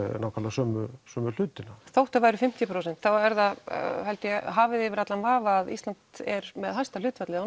sömu sömu hluti þótt það væru fimmtíu prósent að það sé hafið yfir allan vafa að Ísland er með hæsta hlutfallið